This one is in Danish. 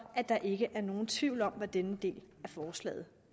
at der ikke er nogen tvivl om hvad denne del af forslaget